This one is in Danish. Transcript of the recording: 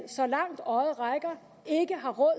så langt øjet rækker ikke har råd